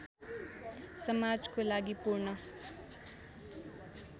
समाजको लागि पूर्ण